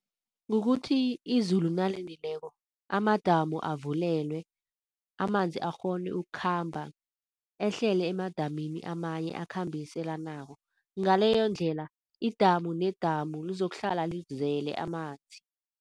Kukuthi izulu nalinileko amadamu avulelwe, amanzi akghone ukukhamba ehlele emadamini amanye akhambiselanako. Ngaleyondlela idamu nedamu lizokuhlala lizele amanzi.